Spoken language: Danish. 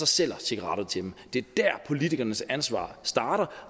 sælger cigaretter til dem det er dér politikernes ansvar starter